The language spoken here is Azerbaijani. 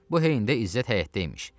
Bu heyyində İzzət həyətdə imiş.